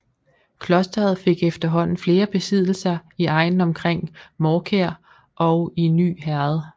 Klosteret fik efterhånden flere besiddelser i egnen omkring Mårkær og i Ny Herred